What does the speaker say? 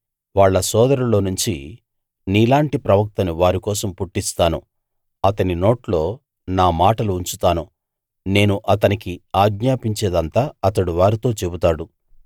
వాళ్ళ సోదరుల్లోనుంచి నీలాంటి ప్రవక్తను వారికోసం పుట్టిస్తాను అతని నోట్లో నా మాటలు ఉంచుతాను నేను అతనికి ఆజ్ఞాపించేదంతా అతడు వారితో చెబుతాడు